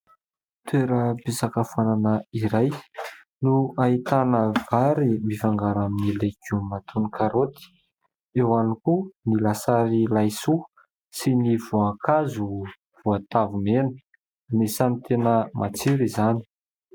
Toeram-pisakafoanana iray no ahitana vary mifangaro amin'ny legioma toy ny karôty, eo ihany koa ny lasary laisoa sy ny voankazo, voatavo mena ; anisany tena matsiro izany.